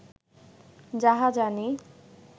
যাহা জানি